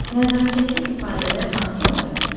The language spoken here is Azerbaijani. Nəzakətli ifadələr hansılardır?